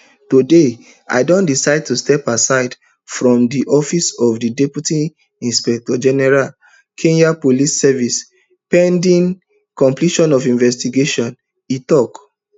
today i don decide to step aside from di office of di deputy inspector general kenya police service pending completion of investigations e tok